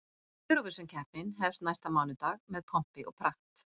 Eurovisionkeppnin hefst næsta mánudag með pompi og prakt.